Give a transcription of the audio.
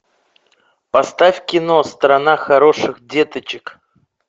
поставь кино страна хороших деточек